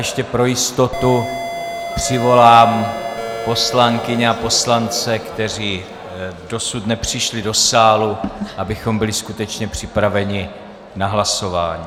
Ještě pro jistotu volám poslankyně a poslance, kteří dosud nepřišli do sálu, abychom byli skutečně připraveni na hlasování.